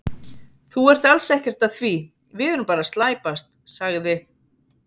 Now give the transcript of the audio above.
Þú ert alls ekkert að því, við erum bara að slæpast, sagði